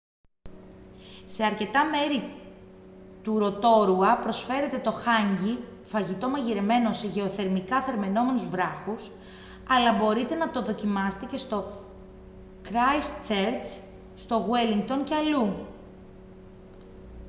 σε αρκετά μέρη του ροτόρουα προσφέρεται το hangi φαγητό μαγειρεμένο σε γεωθερμικά θερμαινόμενους βράχους αλλά μπορείτε να το δοκιμάσετε και στο κράισττσερτς στο γουέλλινγκτον και αλλού